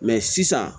Mɛ sisan